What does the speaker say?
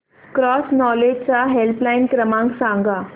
cross knowledge चा helpline क्रमांक सांगा